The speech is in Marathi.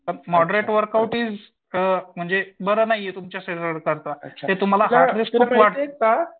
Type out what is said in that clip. मॉडरेट वर्कआउट इस म्हणजे बरं नाहीये तुमच्या शरीराच्या ते तुम्हाला ऍटलीस्ट